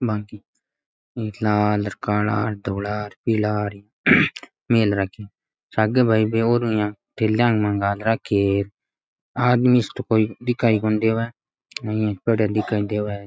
लाल काला धोला पीला मेल रखी है सागे भाई बे औरु --